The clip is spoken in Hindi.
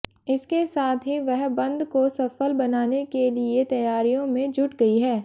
इसके साथ ही वह बंद को सफल बनाने के लिए तैयारियों में जुट गई है